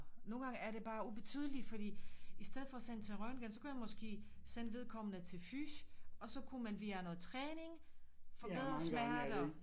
Nogle gange er det bare ubetydeligt fordi i stedet for at sende til røntgen så kunne jeg måske sende vedkommende til fys og så kunne man via noget træning forbedre smerter